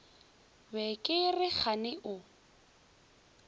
be ke re kgane o